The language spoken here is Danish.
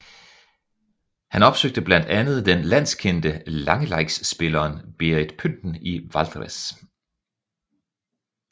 Han opsøgte blandt andet den landskendte langeleikspilleren Berit Pynten i Valdres